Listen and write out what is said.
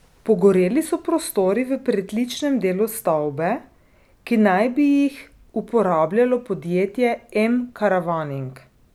Pogoreli so prostori v pritličnem delu stavbe, ki naj bi jih uporabljalo podjetje M Caravaning.